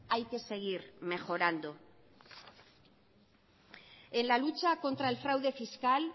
hay que seguir mejorando en la lucha contra el fraude fiscal